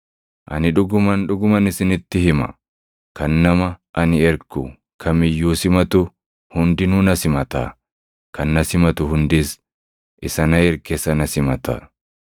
Ani dhuguman, dhuguman isinitti hima; kan nama ani ergu kam iyyuu simatu hundinuu na simata; kan na simatu hundis isa na erge sana simata.”